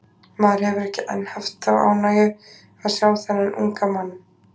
Maður hefur ekki enn haft þá ánægju að sjá þennan unga mann.